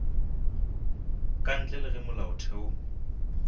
ka ntle le ge molaotheo